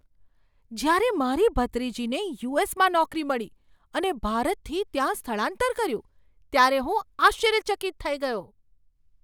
જ્યારે મારી ભત્રીજીને યુ. એસ. માં નોકરી મળી અને ભારતથી ત્યાં સ્થળાંતર કર્યું ત્યારે હું આશ્ચર્યચકિત થઈ ગયો.